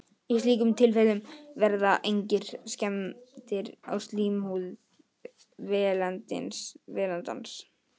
Í slíkum tilfellum verða engar skemmdir á slímhúð vélindans.